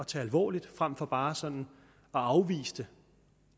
tage alvorligt frem for bare sådan at afvise det